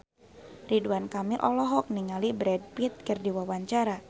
Ridwan Kamil olohok ningali Brad Pitt keur diwawancara